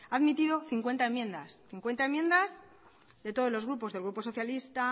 ha admitido cincuenta enmiendas cincuenta enmiendas de todos los grupos del grupo socialista